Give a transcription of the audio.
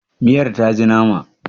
miyar ta ji nama?